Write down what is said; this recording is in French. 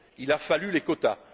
Il a fallu les quotas.